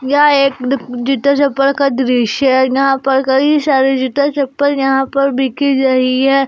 यहां एक दु जूता चप्पल का दृश्य है यहां पर गई सारे जूता चप्पल यहां पर बिकी रही है।